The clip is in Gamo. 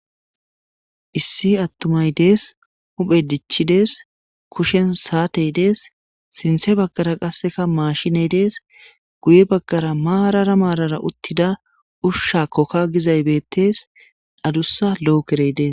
issi attumay dees huphe dichidees kushen saatey dees sinthe baggara qasseka mashiney dees guye baggara maarara maarara uttida ushsha kokka gizay bettees adussa lo7okerey dees